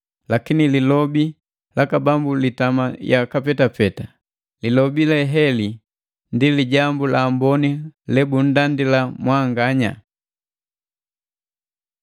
Lakini Lilobi laka Bambu litama yaka petapeta.” Lilobi leheli ndi Lijambu la Amboni lebundandila mwanganya.